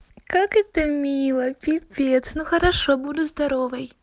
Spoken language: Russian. как это мило пипец ну хорошо буду здоровой